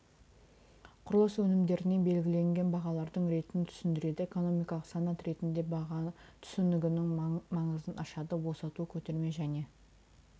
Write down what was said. құрылыс өнімдеріне белгіленген бағалардың ретін түсіндіреді экономикалық санат ретінде баға түсінігінің маңызын ашады босату көтерме және